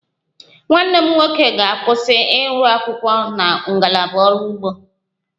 Nwanne m nwoke ga-agụsị akwụkwọ na ngalaba ọrụ ugbo